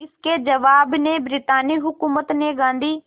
इसके जवाब में ब्रितानी हुकूमत ने गांधी